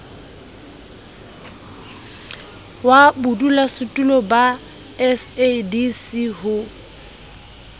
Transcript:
wa bodulasetulo ba sadc ho